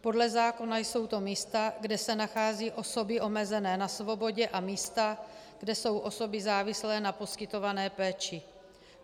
Podle zákona jsou to místa, kde se nacházejí osoby omezené na svobodě, a místa, kde jsou osoby závislé na poskytované péči.